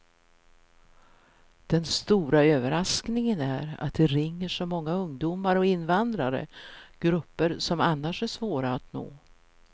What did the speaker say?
Den stora överraskningen är att det ringer så många ungdomar och invandrare, grupper som annars är svåra att nå.